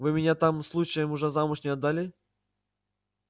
вы меня там случаем уже замуж не отдали